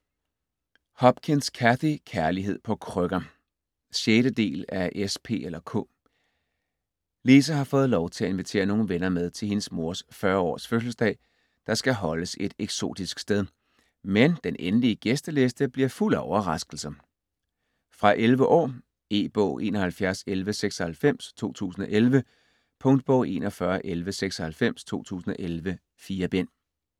Hopkins, Cathy: Kærlighed på krykker 6. del af S, P eller K. Lisa har fået lov til at invitere nogle venner med til hendes mors 40 års fødselsdag, der skal holdes et eksotisk sted. Men den endelige gæsteliste bliver fuld af overraskelser. Fra 11 år. E-bog 711196 2011. Punktbog 411196 2011. 4 bind.